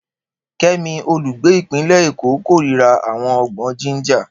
Kemi, olùgbé ìpínlẹ̀ Èkó, kórìíra àwọn ọgbọ́n Ginger.